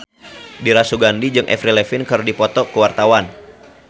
Dira Sugandi jeung Avril Lavigne keur dipoto ku wartawan